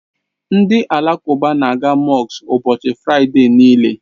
Ndị Alakụba na, a ga mọsk ụbọchị Fraịde niile.